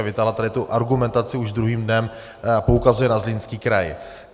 A vytáhla tady tu argumentaci, už druhým dnem poukazuje na Zlínský kraj.